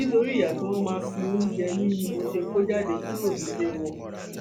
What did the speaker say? nítorí ìyà tí wọn fi máa ń jẹ mí ni mo ṣe kó jáde kúrò nílé wọn